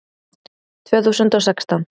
Tvö þúsund og sextán